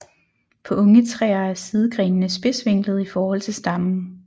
På unge træer er sidegrenene spidsvinklede i forhold til stammen